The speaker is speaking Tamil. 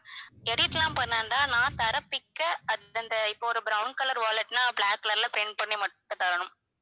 edit லாம் பண்ண வேண்டாம் நான் தர picture அது~ அந்த இப்ப ஒரு brown color wallet னா black color ல print பண்ணி மட்டும் தரணும்